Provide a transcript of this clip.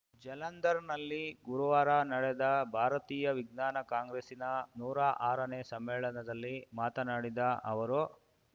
ಜಲಂಧರ್‌ನಲ್ಲಿ ಗುರುವಾರ ನಡೆದ ಭಾರತೀಯ ವಿಜ್ಞಾನ ಕಾಂಗ್ರೆಸ್ಸಿನ ನೂರಾ ಆರನೇ ಸಮ್ಮೇಳನದಲ್ಲಿ ಮಾತನಾಡಿದ ಅವರು